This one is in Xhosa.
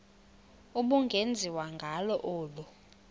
ubungenziwa ngalo olu